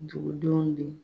Dugudenw bɛ